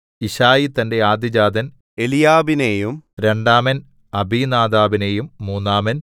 യിശ്ശായി തന്റെ ആദ്യജാതൻ എലീയാബിനെയും രണ്ടാമൻ അബിനാദാബിനെയും മൂന്നാമൻ